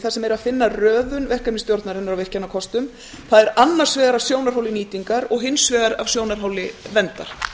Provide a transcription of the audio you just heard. sem er að finna röðun verkefnisstjórnarinnar á virkjunarkostunum það er annars vegar af sjónarhóli nýtingar og hins vegar af sjónarhóli verndar